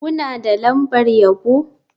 Kuna da lambar yabo?